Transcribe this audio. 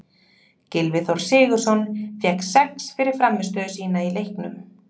Gylfi Þór Sigurðsson fékk sex fyrir frammistöðu sína í leiknum.